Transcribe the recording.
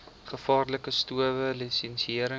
gevaarlike stowwe lisensiëring